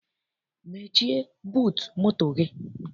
Mechie buutu moto gị!